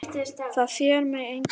Það sér mig enginn.